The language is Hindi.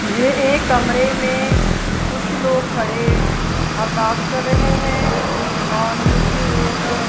ये एक कमरे में कुछ लोग खड़े अरदास कर रहे हैं और नीचे एक--